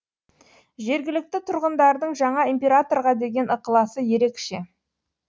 жергілікті тұрғындардың жаңа императорға деген ықыласы ерекше